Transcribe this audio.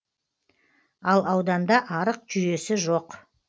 ал ауданда арық жүйесі жоқ